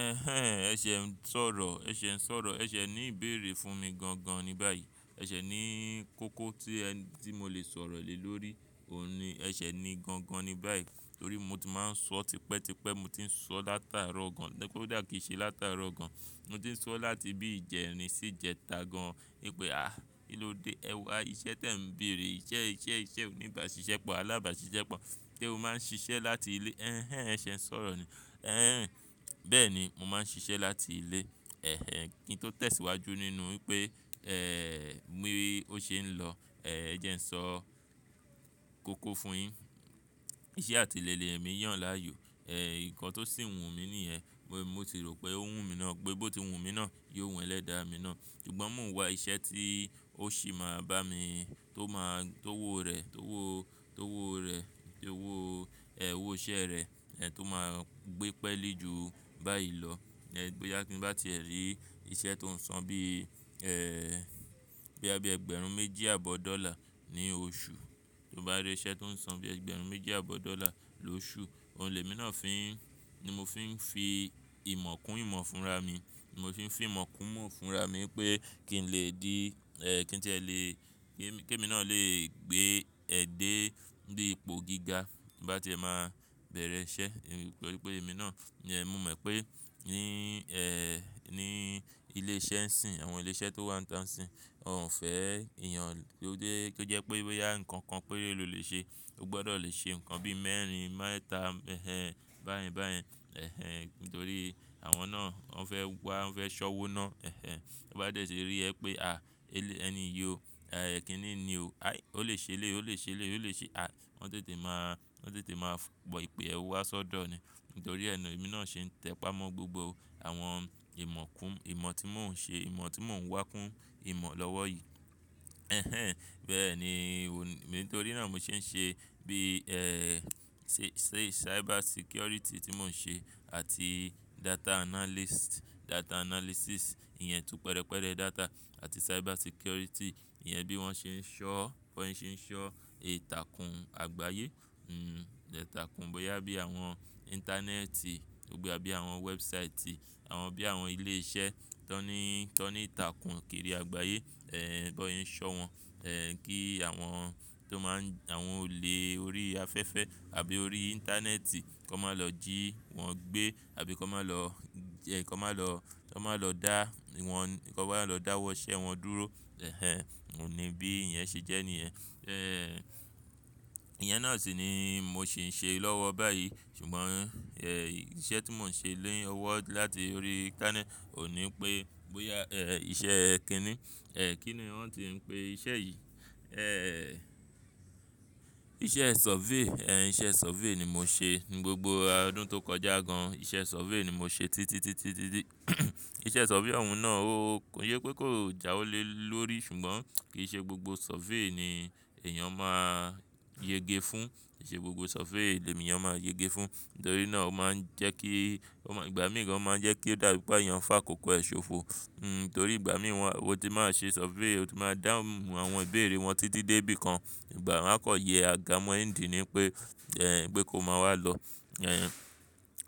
Ẹhẹ́n, ẹ̀ṣẹ̀ ń sọ̀rọ̀, ẹ̀ṣẹ̀ ń sọ̀rọ̀, ẹ̀ṣẹ̀ ní ìbéèrè fún mi gan gan ni báyìí. Ẹ̀ṣẹ̀ ní kókó tí ẹ́, tí mo lè sọ̀rọ̀ lé lórí òun ni, ẹ̀ṣẹ̀ ni gan gan ni báyìí. Nítorí mo ti máa ń sọ tipẹ́ tipẹ́, mo ti ń sọ látàárọ̀ gan, pé ó dà kí í ṣe látàárọ̀ gan. Mo ti ń sọ láti bí ìjẹrin sí ìjẹta gan. Wípé "àh, kíló dé ẹ wa iṣẹ́ tí ẹ ń bèèrè? Iṣẹ́, iṣẹ́, iṣẹ́ onígbà ṣíṣẹ́ pọ̀, alábàá ṣíṣẹ́ pọ̀. Kí ó máa ń ṣiṣẹ́ láti ilé." Ẹhẹ́n, ẹ̀ṣẹ̀ ń sọ̀rọ̀ ni. Ẹhẹ́n, bẹ́ẹ̀ ni, mo máa ń ṣiṣẹ́ láti ilé. Ẹhẹ́n, kí n tó tẹ̀síwájú nínú pé, ẹ́ẹ̀, mi ò ṣe é lọ. Ẹ̀ẹ̀, ẹ jẹ́ ń sọ kókó fún yi. Iṣẹ́ àti lè le èmi yàn láàyò. Ẹ̀ẹ̀, nǹkan tó sì wù mí níẹ̀, mo ti rò pé ó wù mí ná, pé bó ti wù mí ná, yóò wẹ́lẹ́ dá mi ná. Ṣùgbọ́n mò ń wá iṣẹ́ tí ó sì máa bá mi, tó máa, tó owó rẹ̀, tó owó, tó owó rẹ̀, tó owó, ẹ́ owó iṣẹ́ rẹ̀, ẹ̀ tó máa gbé pẹ́lẹ́ ju báyìí lọ. Ẹ̀ẹ̀, bóyá kí bá ti ẹ rí iṣẹ́ tó ń san bí, ẹ́ẹ̀, bí i ẹgbẹ̀rún méjì àbọ̀ dọ́là ní oṣù. Tó bá rí iṣẹ́ tó ń san bí ẹgbẹ̀rún méjì àbọ̀ dọ́là lóṣù, òun lè mi ná fin, ni mo fi ń fi ìmọ̀ kún ìmọ̀ fún ra mi. Mo fi ń fi ìmọ̀ kún ìmọ̀ fún ra mi pé kí n lè di, ẹ́ kí n tí ẹ lè, kí èmi ná lè gbé ẹ̀dẹ́ bí ipò gíga bá ti ẹ máa bẹ̀rẹ̀ iṣẹ́. Ẹ̀ẹ̀, pé èmi náà, ní ẹ̀mú mo mọ̀ pé ní, ẹ́ẹ̀, ní ilé iṣẹ́ ń sìn, àwọn ilé iṣẹ́ tó wà níta ń sìn, wọ́n ò fẹ́ èèyàn lóde, kí ó jẹ́ pé bóyá ǹkan kan pé ló lè ṣe, ó gbọdọ̀ le ṣe ǹkan bí mẹ́rin, mẹ́ta, ẹhẹ́n, báyẹn báyẹn. Ẹhẹ́n, nítorí àwọn náà wọ́n fẹ́ wá, wọ́n fẹ́ ṣọ́wó náà. Ẹhẹ́n, ó bá dẹ̀ tí rí ẹ pé à, ẹni yo, ẹ́ẹ̀, ẹ́ kínní ni o. Á, ó lè ṣe lé, ó lè ṣe lé, ó lè ṣe, à wọ́n ò tètè máa, wọ́n ò tètè máa mọ̀ wípé ẹ wá sọ́dọ̀ ni. Nítorí ẹ́ náà èmi náà ṣe ń tẹpá mọ́ gbogbo àwọn ìmọ̀ kún ìmọ̀ tí mò ń ṣe, ìmọ̀ tí mò ń wá kún ìmọ̀ lọ́wọ́ yìí. Ẹhẹ́n, bẹ́ẹ̀ ni, nítorí náà mo ṣe ń ṣe bí, ẹ́ẹ̀, ṣe, ṣe cyber security tí mò ń ṣe àti data analyst, data analysis. Ìyẹn tún pẹ̀rẹ̀pẹ̀rẹ̀ data àti cyber security. Ìyẹn bí wọ́n ṣe ń ṣọ́, bí wọ́n ṣe ń ṣọ́ ìtàkùn àgbáyé. Hmm, ìtàkùn bóyá bí àwọn ìntanẹ́ẹ̀tì tóbí àbí àwọn wẹ́ẹ̀busaìtì, àwọn bí àwọn ilé iṣẹ́ tó ní, tó ní ìtàkùn kiri àgbáyé. Ẹ̀ẹ̀, bóyẹ́n ṣọ́ wọn, ẹ̀ kí àwọn tó máa ń, àwọn olè orí afẹ́fẹ́ àbí orí ìntanẹ́ẹ̀tì kó má lọ jí wọn gbé àbí kó má lọ, ẹ kó má lọ, kó má lọ dá wọn, kó má lọ dáwọ́ iṣẹ́ wọn dúró. Ẹhẹ́n, òun ni bí i ìyẹn ṣe jẹ́ níẹ̀. Ẹ́ẹ̀, ìyẹn náà sì ni mo sì ń ṣe lọ́wọ́ báyìí. Ṣùgbọ́n, ẹ́ẹ̀, iṣẹ́ tí mò ń ṣe lé ọwọ́ láti orí kán ní, ò ní pé bóyá, ẹ́ẹ̀, iṣẹ́ ẹ́ kínní. Ẹ̀ẹ̀, kí ni wọ́n ti ń pe iṣẹ́ yìí? Ẹ́ẹ̀, iṣẹ́ survey. Ẹ̀ẹ̀, iṣẹ́ survey ni mo ṣe ní gbogbo ọdún tó kọjá gan. Iṣẹ́ survey ni mo ṣe títí, títí, títí. Iṣẹ́ survey àwọn náà ó, ó yẹ pé kó jáwọ́ lé lórí. Ṣùgbọ́n kì í ṣe gbogbo survey ni èèyàn máa yẹge fún. Kì í ṣe gbogbo survey ni èèyàn máa yẹge fún. Nítorí náà ó máa ń jẹ́ kí, ó máa ń, ìgbà mìíràn ó máa ń jẹ́ kí ó dàbí pé àyànfá kòkọ́ ẹ ṣòfò. Hmm, nítorí ìgbà mìíràn, o ti máa ṣe survey, o ti máa dáhùn àwọn ìbéèrè wọn títí dé bí kan. Ìgbà má kọ̀ yẹ àga mọ́ ìdí ni pé, ẹ́ẹ̀, pé kó máa wá lọ. Ẹ̀ẹ̀,